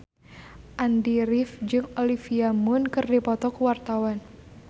Andy rif jeung Olivia Munn keur dipoto ku wartawan